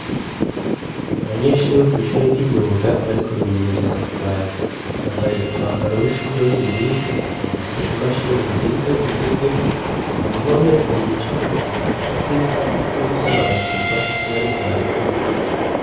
Abanyeshure bo kw'ishure ry'imyuga bariko bimenyereza kubaza, bambaye umwambaro w'ishure w'ubururu, bafise imashini nziza zigezweho, ku mpome hari ibicapo bibafasha kwiga no gusobanukirwa ivyo bariko barakora.